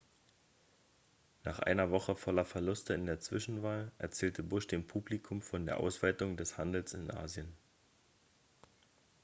nach einer woche voller verluste in der zwischenwahl erzählte bush dem publikum von der ausweitung des handels in asien